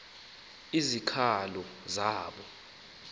izikhalazo